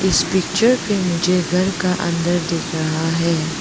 इस पिक्चर पे मुझे घर का अंदर दिख रहा है।